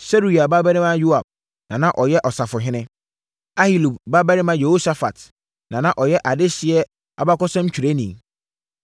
Seruia babarima Yoab na na ɔyɛ ɔsafohene. Ahilud babarima Yehosafat na na ɔyɛ adehyeɛ abakɔsɛmtwerɛni.